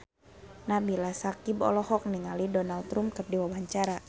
Nabila Syakieb olohok ningali Donald Trump keur diwawancara